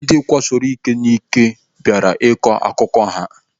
Ndị akwasoro iko n'ike bịara ịkọ akụkọ ha.